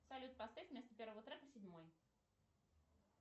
салют поставь вместо первого трека седьмой